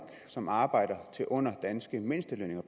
som arbejder til lønninger under de danske mindstelønninger